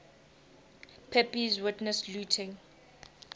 pepys witnessed looting